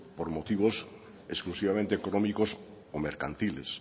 por motivos exclusivamente económicos o mercantiles